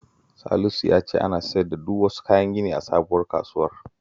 Salisu ya ce ana siyar da duk wasu kayan gini a sabuwar kasuwar